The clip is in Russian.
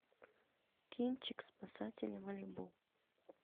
кинчик спасатели малибу